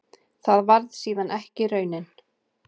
Það varð síðan ekki raunin.